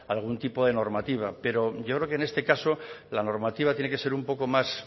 algún tipo de normativa pero yo creo que este caso la normativa tiene que ser un poco más